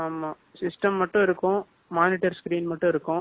System மட்டும் இருக்கும். Monitor screen மட்டும் இருக்கும்,